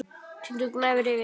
Tindur gnæfir yfir.